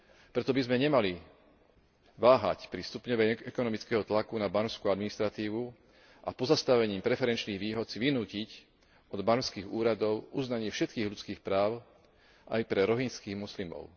Preto by sme nemali váhať pri stupňovaní ekonomického tlaku na barmskú administratívu a pozastavením preferenčných výhod si vynútiť od barmských úradov uznanie všetkých ľudských práv aj pre rohingyjských moslimov.